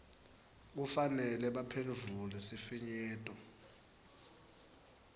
kufanele baphendvule sifinyeto